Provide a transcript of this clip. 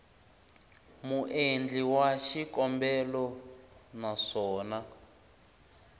muendli wa xikombelo na swona